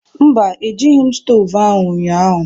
Mba, Ejighị m stovu ahụ ụnyahụ.